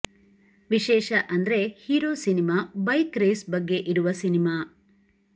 ವಿಶೇಷ ಅಂದ್ರೆ hero cinema bike race ಬಗ್ಗೆ ಇರುವ ಸಿನಿಮಾ